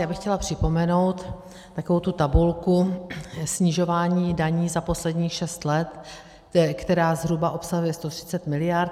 Já bych chtěla připomenout takovou tu tabulku snižování daní za posledních šest let, která zhruba obsahuje 130 mld.